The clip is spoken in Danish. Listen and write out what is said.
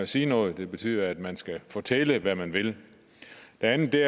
sige noget det betyder at man skal fortælle hvad man vil det andet